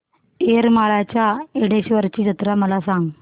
येरमाळ्याच्या येडेश्वरीची जत्रा मला सांग